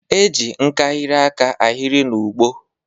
E je nkahịrị aka ahịrị n'ụgbọ.